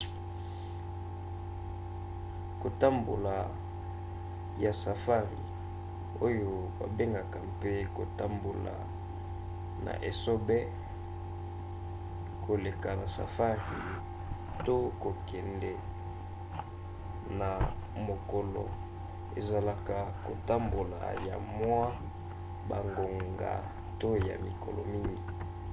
kotambola ya safari oyo babengaka mpe kotambola na esobe koleka na safari to kokende na mokolo ezalaka kotambola ya mwa bangonga to ya mikolo mingi